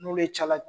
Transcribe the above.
N'olu cayala